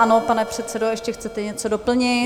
Ano, pane předsedo, ještě chcete něco doplnit?